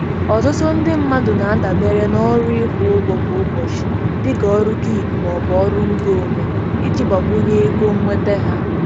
Ọtụtụ ndị mmadụ na-adabere na ọrụ ịkwụ ụgwọ kwa ụbọchị, dị ka ọrụ gig maọbụ ọrụ ngo onwe, iji gbakwunye ego nnweta ha.